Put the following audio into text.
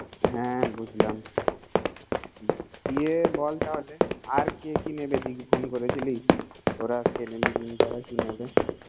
হ্যা বুঝলাম ইয়ে বলতো আর কে কি নেবে তুই কি ফোন করেছিলি